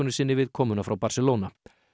sinni við komuna frá Barcelona